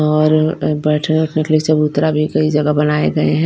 और बैठने के लिए चबूतरा भी कही जगा बनाए गए हैं।